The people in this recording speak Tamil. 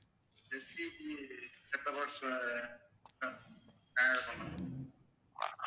STCset-top box பண்ணேங்க